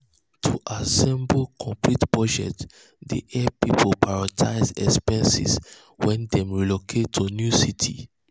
to assemble complete budget dey hep pipul prioritize expenses wen dem relocate to new city.